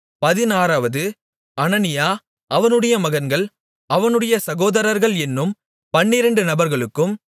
பதினாறாவது அனனியா அவனுடைய மகன்கள் அவனுடைய சகோதரர்கள் என்னும் பன்னிரெண்டு நபர்களுக்கும்